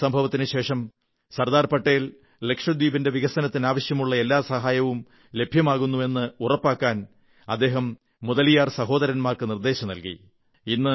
ഈ സംഭവത്തിനുശേഷം ലക്ഷദ്വീപിന്റെ വികസനത്തിന് ആവശ്യമുള്ള എല്ലാ സഹായവും ലഭ്യമാകുന്നു എന്ന് ഉറപ്പാക്കാൻ സർദാർ പട്ടേൽ മുതലിയാർ സഹോദരന്മാർക്ക് നിർദ്ദേശം നല്കി